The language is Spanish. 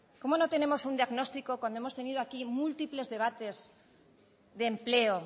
cómo no tenemos un diagnóstico cuando hemos tenido aquí múltiples debates de empleo